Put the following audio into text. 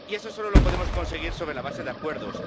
Y eso solo lo podemos conseguir sobre la base de acuerdos.